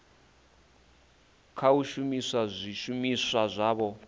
kha u shumisa zwishumiswa zwavho